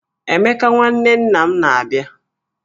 Emeka nwanne nna m na-abịa